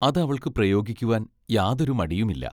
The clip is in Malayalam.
അത് അവൾക്ക് പ്രയോഗിക്കുവാൻ യാതൊരു മടിയുമില്ല.